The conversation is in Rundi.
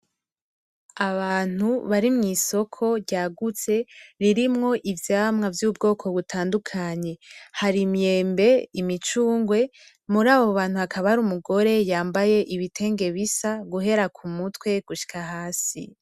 Abantu barimw'isoko ryagutse ririmwo ivyamwa vy'ubwoko butandukanye. Har' imyembe ,imicungwe ,murabo bantu hakaba hari umugore yambaye ibitenge bisa guhera kumutwe gushika hasi.